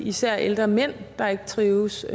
især ældre mænd der ikke trives